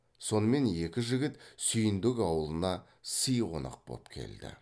сонымен екі жігіт сүйіндік ауылына сый қонақ боп келді